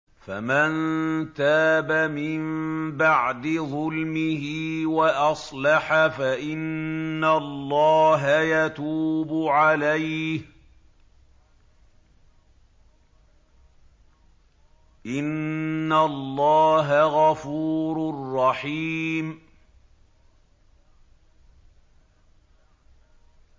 فَمَن تَابَ مِن بَعْدِ ظُلْمِهِ وَأَصْلَحَ فَإِنَّ اللَّهَ يَتُوبُ عَلَيْهِ ۗ إِنَّ اللَّهَ غَفُورٌ رَّحِيمٌ